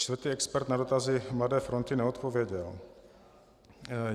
Čtvrtý expert na dotazy Mladé fronty neodpověděl.